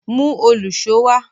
Mú òlùṣó wá!